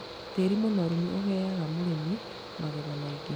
Tĩri mũnoru nĩ ũheaga mũrĩmi magetha maingĩ.